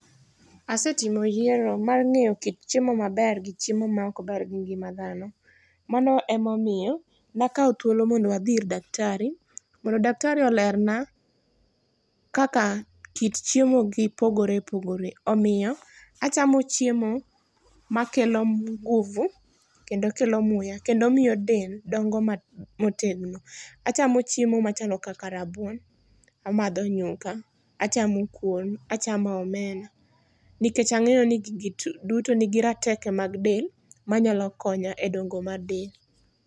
Asetimo yiero mar ng'eyo kit chiemo maber gi chiemo maok ber gi ngima dhano. Mano emomiyo nakawo thuolo mondo wadhi ir daktari mondo daktari olerna kaka kit chiemo gi pogore pogore, omiyo achamo chiemo makelo nguvu, kendo kelo muya kendo miyo del dongo motegno. Achamo chiemo machalo kaka rabuon, amadho nyuka, achamo kuon achamo omena nikech ang'eyo ni gigi duto nigi rateke mag del manyalo konya e dongo mag del.